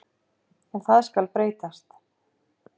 En það skal breytast.